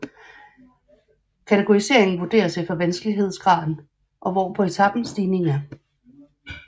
Kategoriseringen vurderes efter vanskelighedsgraden og hvor på etapen stigningen er